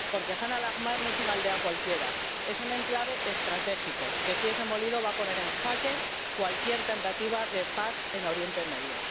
Porque Jan al Ahmar no es una aldea cualquiera es un enclave estratégico que, si es demolido, va a poner en jaque cualquier tentativa de paz en Oriente Medio.